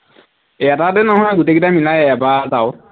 এটাতে নহয় গোটেইকেইটা মিলাই এবাৰত আৰু